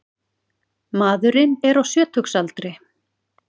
Maðurinn er á sjötugsaldri